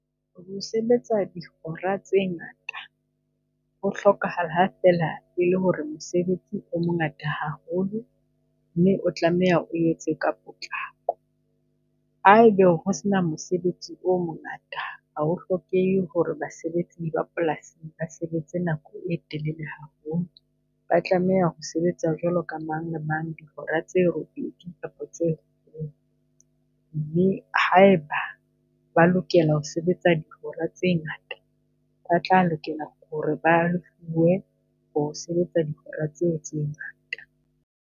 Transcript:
Ho sebetsa dihora tse ngata ho hlokahala ha feela e le hore mosebetsi o mongata haholo, mme o tlameha o etse ka potlako. Haebe ho sena mosebetsi o mo ngata ha ho hlokehe hore basebetsi ba polasing basebetse nako e telele haholo, ba tlameha ho sebetsa jwalo ka mang le mang, dihora tse robedi kapa tse robong. Mme haeba ba lokela ho sebetsa dihora tse ngata, ba tla lokela hore ba ho sebetsa dihora tseo tse ngata.